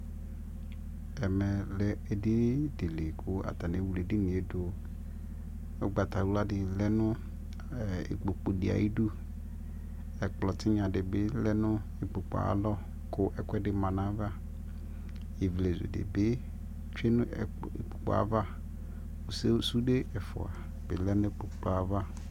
ɛmɛ lɛ ɛdini dili kʋ atani ɛwlɛ ɛdiniɛ dʋ kʋ ɔgbatawla di lɛnʋ ikpɔkʋ di ayidʋ, ɛkplɔ tinya dibi lɛnʋ ikpɔkʋɛ ayi alɔ kʋ ɛkʋɛdi manʋ aɣa, ivlɛzʋ dibi twɛnʋikpɔkʋɛ aɣa, sʋdɛ ɛƒʋa bi lɛnʋ ikpɔkʋɛ aɣa